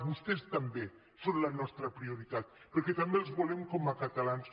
vostès també són la nostra prioritat perquè també els volem com a ca·talans